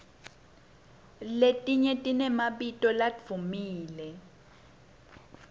letinye tinemabito ladvumile